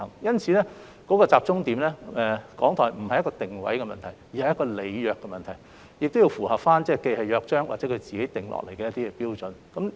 因此，重點並不在於港台的定位問題，而在於履約問題，以及同時符合《約章》及港台自行訂定的標準。